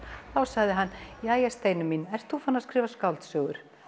þá sagði hann jæja Steinunn ertu farin að skrifa skáldsögu